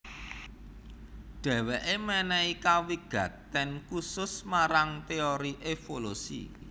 Dheweke menehi kawigaten khusus marang teori evolusi